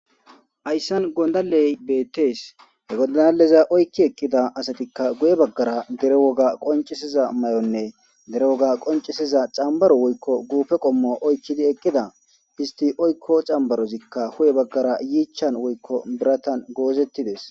ayssan gondaley bettees he godaaaleza oykki ekkida asatikka guye baggara dere woga qoncisiza may7onne dere woga qoncisiza cambaro woykko guufe qommo oykkidi eqqida histi oykko cambarozikka hu7e baggara yiichan woykko biratan goozettides